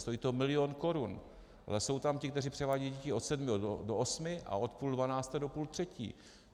Stojí to milion korun, ale jsou tam ti, kteří převádějí děti od sedmi do osmi a od půl dvanácté do půl třetí.